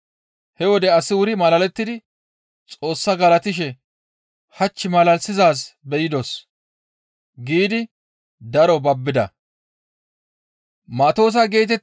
He wode asi wuri malalettides. Xoossa galatishe, «Hach malalisizaaz be7idos» giidi daro babbida.